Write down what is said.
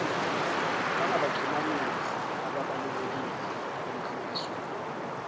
bangabaxhumanisi ababalulekile emkhankasweni